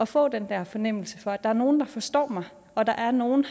få den der fornemmelse for at der er nogle der forstår mig og der er nogle